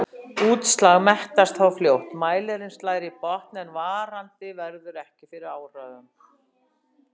Útslag mettast þá fljótt, mælirinn slær í botn en varandi verður ekki fyrir áhrifum.